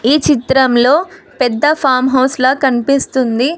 ఈ చిత్రంలో పెద్ద ఫామ్ హౌస్ లా కనిపిస్తుంది.